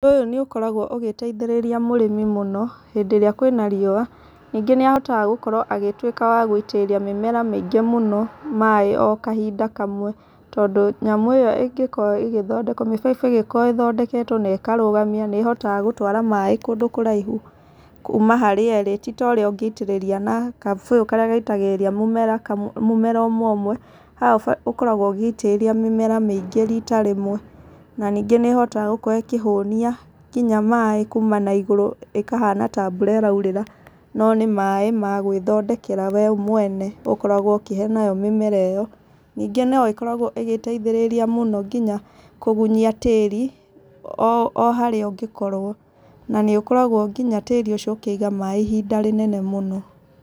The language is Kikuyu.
Ũndũ ũyũ nĩ ũkoragwo ũgĩteithĩrĩria mũrĩmi mũno, hĩndĩ ĩrĩa kwĩna riũa. Ningĩ nĩ ahotaga gũkorwo agĩtuĩka wa gũitĩrĩria mĩmera mĩingĩ maĩ o kahinda kamwe. Tondũ nyamũ ĩyo ĩgĩkorwo ĩgĩthondekwo, mĩbaibũ ĩngĩkorwo ĩthondeketwo na ĩkarũgamio, nĩ ĩhotaga gũtwara maĩ kũndũ kũraihu kuuma harĩ ĩrĩ. Ti ta ũrĩa ũngĩitĩrĩria na kabũyũ karĩa gaitagĩrĩria mũmera mũmera ũmwe ũmwe. Haha ũkoragwo ũgĩitĩrĩria mĩmera mĩingĩ riita rĩmwe. Na ningĩ nĩ ĩhotaga gũkorwo ĩkĩhũnia nginya maĩ kuuma na igũrũ ĩkahana ta mbura ĩraurĩra no nĩ maĩ ma gwĩthondekera we mwene ũkoragwo ũkĩhe nayo mĩmera ĩyo. Ningĩ no ĩkoragwo ĩgĩteithĩrĩria mũno nginya kũgunyia tĩri, o harĩa ũngĩkorwo, na nĩ ũkoragwo nginya tĩri ũcio ũkĩiga maĩ ihinda rĩnene mũno.